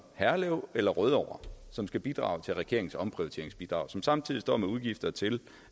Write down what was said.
herlev eller rødovre som skal bidrage til regeringens omprioriteringsbidrag og som samtidig står med udgifter til